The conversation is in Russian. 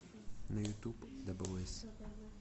на ютуб дабл эс